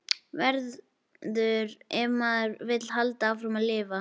Verður- ef maður vill halda áfram að lifa.